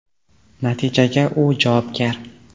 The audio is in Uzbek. Natijaga u javobgar.